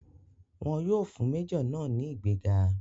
Wọn yóò fún méjọ̀ náà ní ìgbéga.